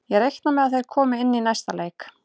Ég reikna með að þeir komi inn í næsta leik.